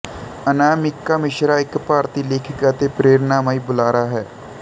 ਅਨਾਮਿਕਾ ਮਿਸ਼ਰਾ ਇੱਕ ਭਾਰਤੀ ਲੇਖਕ ਅਤੇ ਪ੍ਰੇਰਣਾਮਈ ਬੁਲਾਰਾ ਹੈ